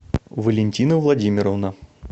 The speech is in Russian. валентина владимировна